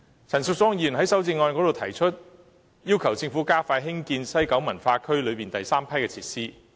陳淑莊議員在修正案中要求政府加快興建西九文化區內第三批設施。